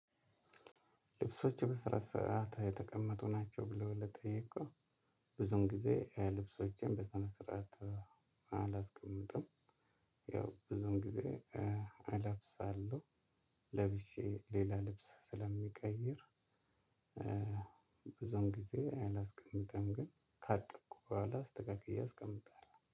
ልብሶችህ በስነስርዓት የተቀመጡ ናቸው ብለው ለጠየከው? ብዙን ጊዜ ልብሶቼን በሰነስርአት አላስቀምጥም። ያው ብዙም ጊዜ እለብሳለሁ ለብሼ ሌላ ልብስ ስለምቀይር። ብዙን ጊዜ አላስቀምጥም ግን ካጠብኩ በኋላ አስተካክዬ አስቀምጣለሁ